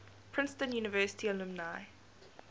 princeton university alumni